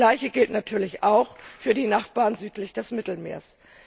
Das Gleiche gilt natürlich auch für die Nachbarn südlich des Mittelmeers.